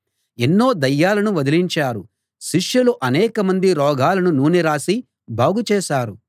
ఎన్నో దయ్యాలను వదిలించారు శిష్యులు అనేకమంది రోగులను నూనె రాసి బాగుచేశారు